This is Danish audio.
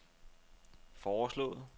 foreslået